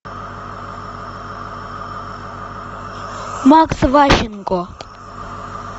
макс ващенко